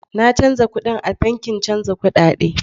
Na canza kuɗin a bankin chanza kudade.